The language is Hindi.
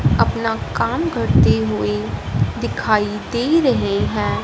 अपना काम करती हुईं दिखाई दे रहें हैं।